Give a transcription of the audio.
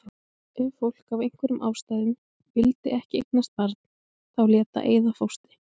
Ef fólk af einhverjum ástæðum vildi ekki eignast barn þá lét það eyða fóstri.